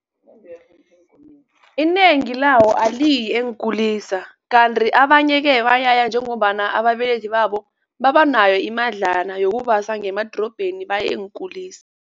Inengi lawo aliyi eenkulisa kanti abanye-ke bayaya njengombana ababelethi babo babanayo imadlana yokubasa ngemadorobheni baye eenkulisa.